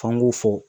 F'an k'u fɔ